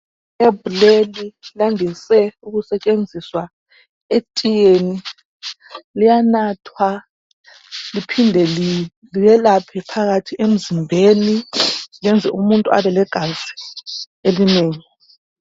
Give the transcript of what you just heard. Iherb liyandise ukusetshenziswa etiyeni liyanathwa liphinde lelaphe phakathi emzimbeni lenze umuntu abe legazi elinengi.